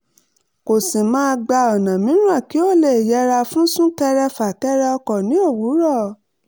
kó sì máa gba ọ̀nà mìíràn kí ó lè yẹra fún sún-kẹrẹ-fà-kẹrẹ ọkọ̀ ní òwúrọ̀